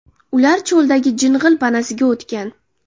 Ular cho‘ldagi jing‘il panasiga o‘tgan.